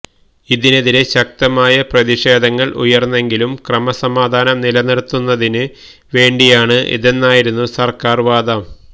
ഇതിനെതിരെ ശക്തമായ പ്രതിഷേധങ്ങള് ഉയര്ന്നെങ്കിലും ക്രമസമാധാനം നിലനിര്ത്തുന്നതിന് വേണ്ടിയാണ് ഇതെന്നായിരുന്നു സര്ക്കാര് വാദം